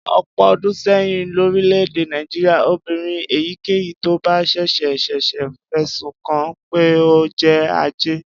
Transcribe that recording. Ọ̀pọ̀ ọdún sẹ́yìn lórílẹ̀-èdè Nàìjíríà, obìnrin èyíkéyìí tó bá ṣẹ̀ṣẹ̀ ṣẹ̀ṣẹ̀ fẹ̀sùn kàn án pé ó jẹ́ ajẹ́